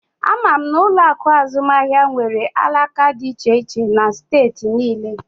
Ama m na ụlọ akụ azụmaahịa nwere alaka dị iche iche na steeti niile